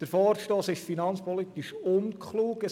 Der Vorstoss ist finanzpolitisch unklug.